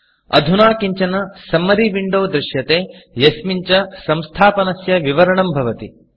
अधुना किञ्चन सम्मरी Windowसम्मरि विण्डो दृश्यते यस्मिन् च संस्थापनस्य विवरणं भवति